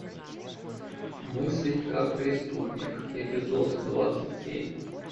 мыслить как преступник эпизод двадцать семь